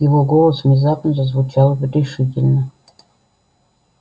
его голос внезапно зазвучал решительно